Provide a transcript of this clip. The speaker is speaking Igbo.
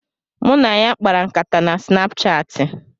Mụ na ya kpara nkata na Sinapchaati